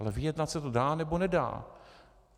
Ale vyjednat se to dá, nebo nedá.